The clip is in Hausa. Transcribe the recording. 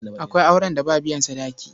Akwai auren da ba biyan sadaki.